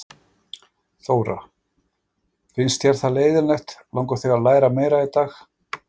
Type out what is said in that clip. Þóra: Finnst þér það leiðinlegt, langar þig að læra meira í dag?